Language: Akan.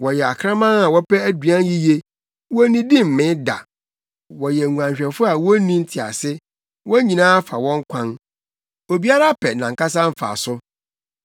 Wɔyɛ akraman a wɔpɛ aduan yiye; wonnidi mmee da. Wɔyɛ nguanhwɛfo a wonni ntease; wɔn nyinaa fa wɔn kwan, obiara pɛ nʼankasa mfaso.